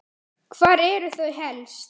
Hvar eru þau helst?